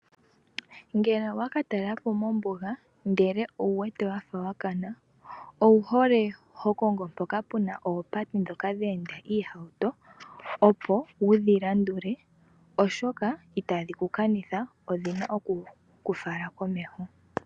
Ngele owaka talelapo mombuga ndele owu wete wafa wakana, owu hole ho kongo mpoka puna oopate ndhoka dheenda iihauto opo wudhi landule, oshoka itadhi ku kanitha odhina okuku fala komeho.